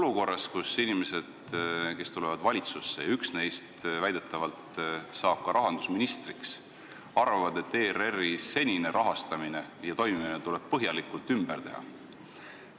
Mõni inimene, kes tuleb valitsusse – üks neist väidetavalt saab rahandusministriks –, arvab, et ERR-i senist rahastamist ja toimimist tuleb põhjalikult muuta.